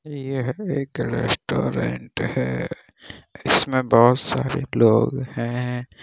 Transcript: यह एक रेस्टोरेंट है इसमें बहुत सारे लोग है।